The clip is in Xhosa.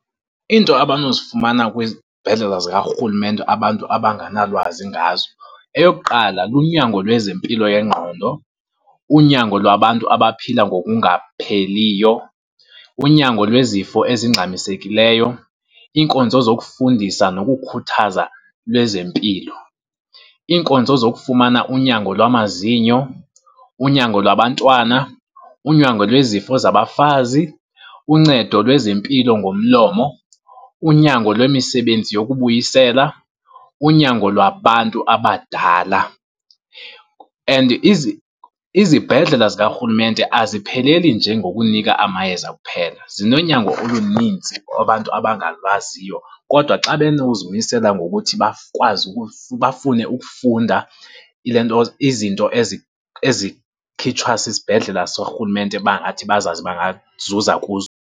Into abanozifumana kwizibhedlela zikarhulumente abantu abanganalwazi ngazo, eyokuqala lunyango lwezempilo yengqondo, Unyango lwabantu abaphila ngokungapheliyo, unyango lwezifo ezingxamisekileyo, iinkonzo zokufundisa nokukhuthaza lwezempilo. Iinkonzo zokufumana unyango lwamazinyo, unyango lwabantwana, unyango lwezifo zabafazi, uncedo lwezempilo ngomlomo, unyango lwemisebenzi yokubuyisela, unyango lwabantu abadala. And izibhedlela zikarhulumente azipheleli nje ngokunika amayeza kuphela, zinonyango oluninzi abantu abangalwaziyo kodwa xa benozimisela ngokuthi bakwazi, bafune ukufunda ilentoza, izinto ezikhitshwa sisibhedlela sikarhulumente bangathi bazazi bangazuza kuzo.